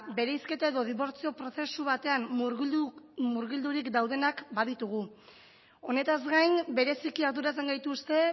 bereizketa edo dibortzio prozesu batean murgilduri daudenak baditugu honetaz gain bereziki arduratzen gaituzte